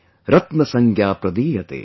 मूढैःपाषाणखण्डेषु रत्नसंज्ञा प्रदीयते" ||